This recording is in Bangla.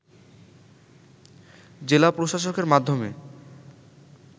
জেলা প্রশাসকের মাধ্যমে